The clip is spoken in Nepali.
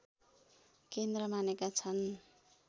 केन्द्र मानेका छन्